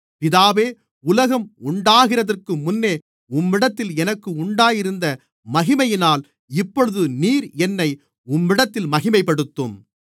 பிதாவே உலகம் உண்டாகிறதற்கு முன்னே உம்மிடத்தில் எனக்கு உண்டாயிருந்த மகிமையினால் இப்பொழுது நீர் என்னை உம்மிடத்திலே மகிமைப்படுத்தும்